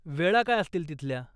वेळा काय असतील तिथल्या ?